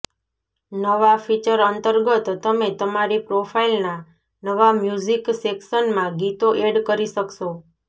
નવા ફીચર અંતર્ગત તમે તમારી પ્રોફાઈલના નવા મ્યૂઝિક સેક્શનમાં ગીતો એડ કરી શકશો